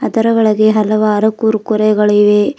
ಅದರ ಒಳಗೆ ಹಲವಾರು ಕುರ್ಕುರೆ ಗಳು ಇವೆ.